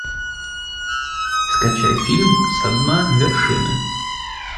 скачай фильм со дна вершины